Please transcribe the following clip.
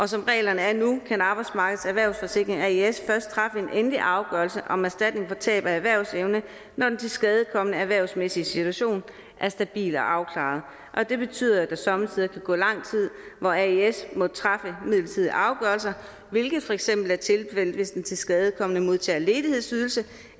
som reglerne er nu kan arbejdsmarkedets erhvervssikring aes først træffe en endelig afgørelse om erstatning for tab af erhvervsevne når den tilskadekomnes erhvervsmæssige situation er stabil og afklaret og det betyder at der somme tider kan gå lang tid hvor aes må træffe midlertidige afgørelser hvilket for eksempel er tilfældet hvis den tilskadekomne modtager ledighedsydelse